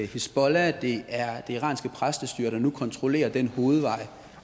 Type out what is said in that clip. hizbollah og det iranske præstestyre der nu kontrollerer den hovedvej